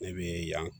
Ne bi yan